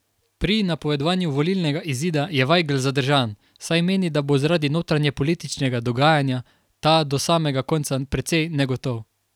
Pri napovedovanju volilnega izida je Vajgl zadržan, saj meni, da bo zaradi notranjepolitičnega dogajanja ta do samega konca precej negotov.